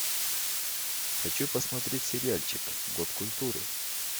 хочу посмотреть сериальчик год культуры